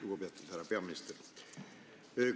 Lugupeetud härra peaminister!